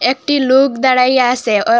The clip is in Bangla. একটি লোক দাঁড়াইয়া আসে ও--